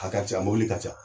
A ka ca , a mɔbili ka ca.